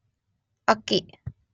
ಅಕ್ಕಿ